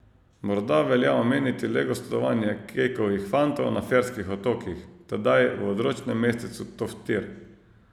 Morda velja omeniti le gostovanje Kekovih fantov na Ferskih otokih, tedaj v odročnem mestecu Toftir.